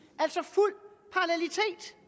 år